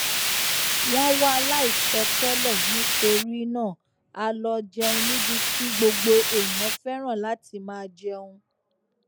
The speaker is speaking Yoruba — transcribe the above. wón wá láìsọ tẹlẹ nítorí náà a lọ jẹun níbi tí gbogbo èèyàn féràn láti máa jẹun